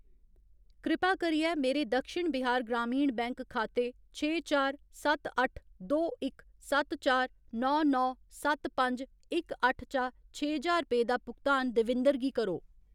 कृपा करियै मेरे दक्षिण बिहार ग्रामीण बैंक खाते छे चार सत्त अट्ठ दो इक सत्त चार नौ नौ सत्त पंज इक अट्ठ चा छे ज्हार रपेऽ दा भुगतान देविंदर गी करो।